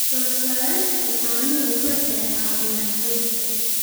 Soo saarista caanuhu waxay caawiyaan qoyska.